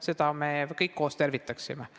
Seda me kõik koos tervitaksime.